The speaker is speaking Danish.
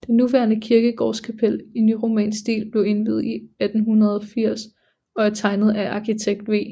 Det nuværende kirkegårdskapel i nyromansk stil blev indviet i 1880 og er tegnet af arkitekt V